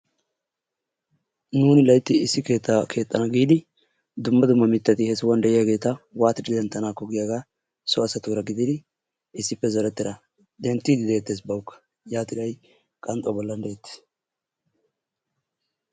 Nuuni laytti issi keettaa keexxana giidi dumma dumma mittati he sohuwan de'iyageeta waatti denttanakko giyaaga so asatuura gidid issippe zorettida denttidi dettees bawukka yaattidi ha'i qanxxuwa bolla dettees.